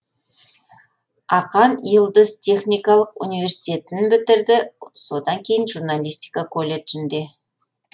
акан йылдыз техникалық университетін бітірді содан кейін журналистика колледжін де